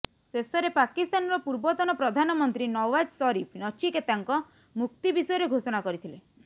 ଶେଷରେ ପାକିସ୍ତାନର ପୂର୍ବତନ ପ୍ରଧାନ ମନ୍ତ୍ରୀ ନୱାଜ ଶରିଫ ନଚିକେତାଙ୍କ ମୁକ୍ତି ବିଷୟରେ ଘୋଷଣା କରିଥିଲେ